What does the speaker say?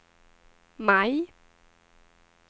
maj